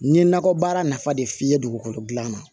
N ye nakɔ baara nafa de f'i ye dugukolo dilan na